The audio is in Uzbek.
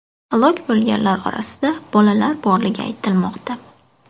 Halok bo‘lganlar orasida bolalar borligi aytilmoqda.